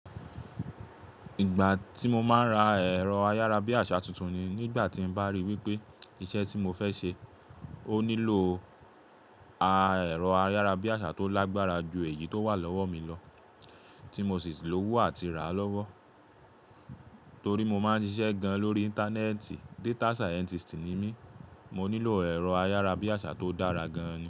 Ìgbà tí mo máa ń ra ẹ̀rọ ayárabíàṣá tuntun ni, nígbà tí n bá ríi wípé iṣẹ́ tí mo fẹ́ ṣe ó nílò a, ẹ̀rọ ayárabíàṣá tó lágbára ju èyí tó wà lọ́wọ́ mi lọ tí mo sì ti lówó àti rà á lọ́wọ́. Torí mo máa ń ṣiṣẹ́ gan lórí Íńtánẹ́ẹ̀tì, data scientist ni mí, mo nílò ẹ̀rọ ayárabíàṣá tó dára gan.